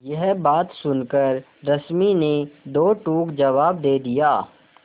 यह बात सुनकर रश्मि ने दो टूक जवाब दे दिया